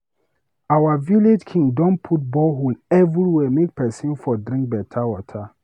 Our village king don put borehole everywhere make pesin for drink beta water.